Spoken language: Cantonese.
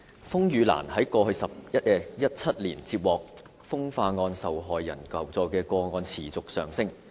風雨蘭在過去17年接獲風化案受害人求助的個案持續上升。